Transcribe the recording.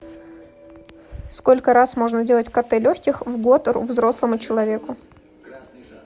сколько раз можно делать кт легких в год взрослому человеку